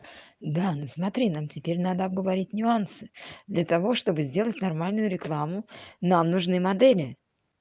да но смотри нам теперь надо говорить нюансы для того чтобы сделать нормальную рекламу нам нужны модели